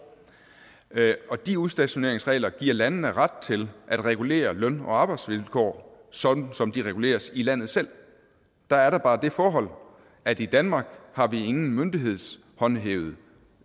og de udstationeringsregler giver landene ret til at regulere løn og arbejdsvilkår sådan som de reguleres i landet selv der er der bare det forhold at i danmark har vi ingen myndighedshåndhævet